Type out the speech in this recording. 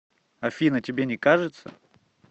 афина тебе не кажется